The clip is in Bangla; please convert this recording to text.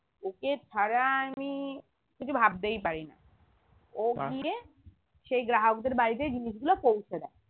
ওকে ছাড়া আমি কিছু ভাবতেই পারিনা ও সেই গ্রাহকদের বাড়িতে জিনিসগুলো পৌঁছে দেয়